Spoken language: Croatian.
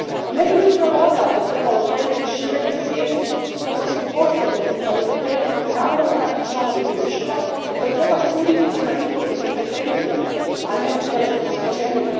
Ne bi li upravo odavde trebalo krenuti širenje svijesti kako su osobe s invaliditetom ravnopravni članovi društva koje treba suditi prema njihovim kompetencijama, a ne tjelesnim oštećenjima?